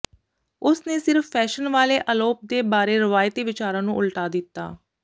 ਉਸ ਨੇ ਸਿਰਫ ਫੈਸ਼ਨ ਵਾਲੇ ਅਲੋਪ ਦੇ ਬਾਰੇ ਰਵਾਇਤੀ ਵਿਚਾਰਾਂ ਨੂੰ ਉਲਟਾ ਦਿੱਤਾ